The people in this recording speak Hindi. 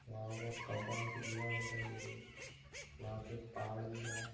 वहां बहुत कम्पाउंड की दीवार दिखाई दे रही वहां पे पहाड़ दिख रहा है।